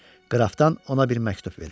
Qrafdan ona bir məktub verir.